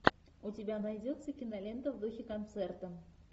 у тебя найдется кинолента в духе концерта